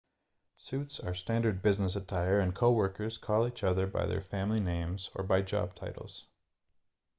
suits are standard business attire and coworkers call each other by their family names or by job titles